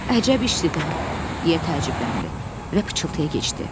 Əcəb işdir də, deyə təəccübləndi və pıçıltıya keçdi.